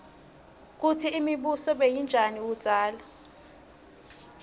kutsi imibuso beyinjani kudzala